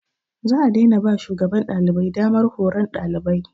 Za a daina ba shugaban ɗalibai damar horon ɗalibai.